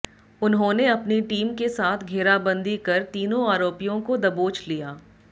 उन्होंने अपनी टीम के साथ घेराबंदी कर तीनों आरोपियों को दबोच लिया